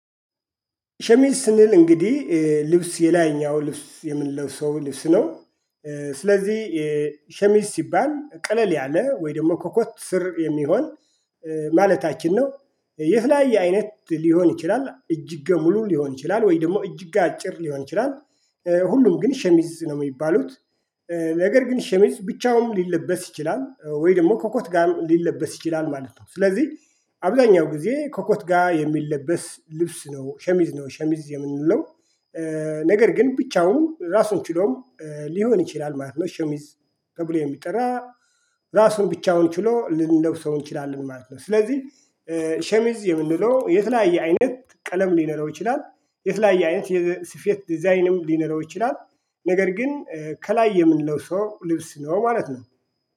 ሸሚዝ ስንል እንግዲህ ልብስ የላይኛው ልብስ የምንለው ሰው ልብስ ነው። ስለዚህ ሸሚዝ ሲባል ቀለል ያለ ወይ ደግሞ ኮኮት ስር የሚሆን ማለታችን ነው። ይህ ላይ አይነት ሊሆን ይችላል እጅግ ሙሉ ሊሆን ይችላል ወይ ደግሞ እጅግ አጭር ሊሆን ይችላል። ሁሉም ግን ሸሚዝ ነው የሚባሉት። ነገር ግን ሸሚዝ ብቻውን ሊለበስ ይችላል ወይ ደግሞ ኮኮት ጋር ሊለበስ ይችላል ማለት ነው። ስለዚህ አብዛኛው ጊዜ ኮኮት ጋር የሚለበስ ልብስ ነው ሸሚዝ ነው ሸሚዝ የምንለው። ነገር ግን ብቻውን ራሱን ችሎም ሊሆን ይችላል ማለት ነው። ሸሚዝ ተብሎ የሚጠራ ራሱን ብቻውን ችሎ ልንለብሰው እንችላለን ማለት ነው። ስለዚህ ሸሚዝ የምንለው የተለያየ አይነት ቀለም ሊኖረው ይችላል። የተለያየ አይነት የስፌት ዲዛይንም ሊኖረው ይችላል። ነገር ግን ከላይ የምንለው ሰው ልብስ ነው ማለት ነው።